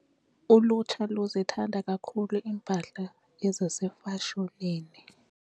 Ulutsha luzithanda kakhulu iimpahla ezisefashonini.